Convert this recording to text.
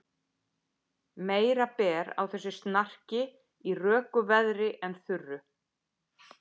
Meira ber á þessu snarki í röku veðri en þurru.